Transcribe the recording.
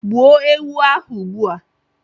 gbuo ewu ahu ugbua!